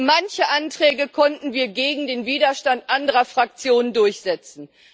Manche Anträge konnten wir gegen den Widerstand anderer Fraktionen durchsetzen.